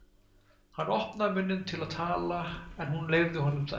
Hann opnaði munninn til að tala en hún leyfði honum það ekki.